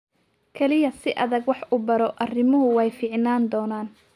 Kaliya si adag wax u baro, arrimuhu way fiicnaan doonaan